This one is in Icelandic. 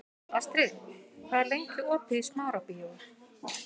Astrid, hvað er lengi opið í Smárabíói?